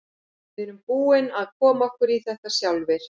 Við erum búnir að koma okkur í þetta sjálfir.